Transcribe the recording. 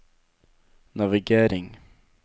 navigering